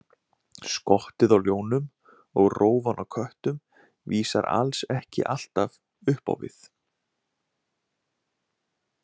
Skottið á ljónum og rófan á köttum vísar alls ekki alltaf upp á við.